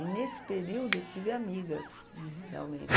E nesse período eu tive amigas. Uhum. Realmente.